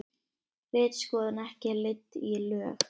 Ritskoðun ekki leidd í lög